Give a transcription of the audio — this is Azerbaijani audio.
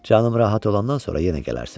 Canım rahat olandan sonra yenə gələrsən.